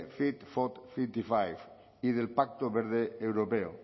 fit for cincuenta y cinco y del pacto verde europeo